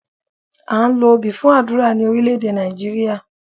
À ń lo obì fún àdúrà ní Orílẹ́èdè Nàìjíríà